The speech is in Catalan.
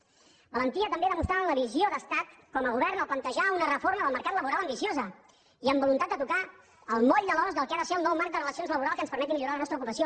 valentia també demostrant la visió d’estat com a govern al plantejar una reforma del mercat laboral ambiciosa i amb voluntat de tocar el moll de l’os del que ha de ser el nou marc de relacions laborals que ens permeti millorar la nostra ocupació